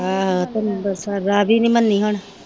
ਆਹੋ ਤੇ ਅੰਬਰਸਰ ਰਾਵੀ ਨਹੀਂ ਮੰਨੀ ਹੁਣ।